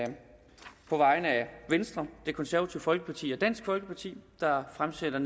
venstre det konservative folkeparti og dansk folkeparti fremsætte